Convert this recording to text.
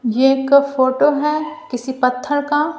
ये एक फोटो है किसी पत्थर का--